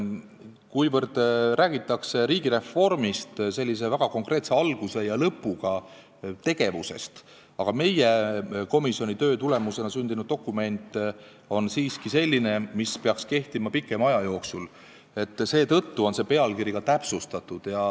Riigireformist räägitakse kui väga konkreetse alguse ja lõpuga tegevusest, aga meie komisjoni töö tulemusena sündinud dokument on siiski selline, mis peaks kehtima pikema aja jooksul, seetõttu on seda pealkirja nii ka täpsustatud.